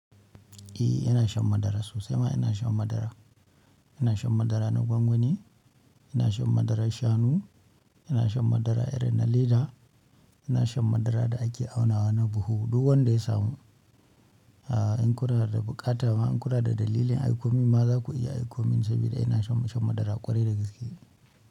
Eh ina shan madara sosai ma ina shan madara. Ina shan madara na gwangwani, ina shan madaran shanu, ina shan madara irin na leda, ina shan madara da ake aunawa na buhu. Duk wanda ya samu, a'a in kuna da buƙata ma in kuna da dalilin aikomin ma za ku iya aikomin, sabida ina shan shan madara ƙwarai da gaske.